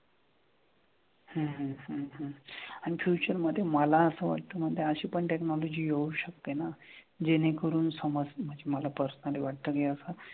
हम्म हम्म हम्म हम्म आणि future मधे मला असं वाटतं ना की अशी पण technology येऊ शकते ना जेणे करून समाज म्हणजे मला personally वाटतं की असं,